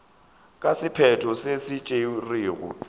ka sephetho se se tšerwego